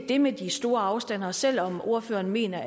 det med de store afstande at selv om ordføreren mener